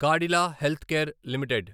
Cadila health care limited